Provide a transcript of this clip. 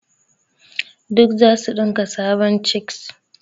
Duk zasu dinka sabon cheks.